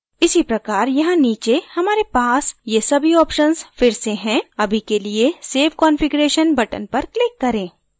इसी प्रकार यहाँ नीचे हमारे पास ये सभी options फिर से हैं अभी के लिए save configuration button पर click करें